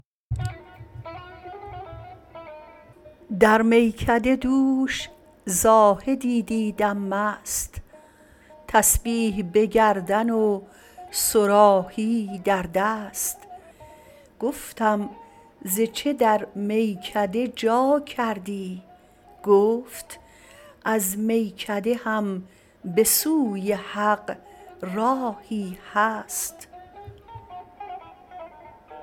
در میکده دوش زاهدی دیدم مست تسبیح به گردن و صراحی در دست گفتم ز چه در میکده جا کردی گفت از میکده هم به سوی حق راهی هست